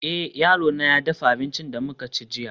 eh, yarona ya dafa abincin da muka ci jiya